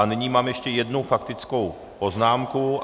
A nyní mám ještě jednu faktickou poznámku.